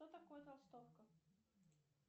что такое толстовка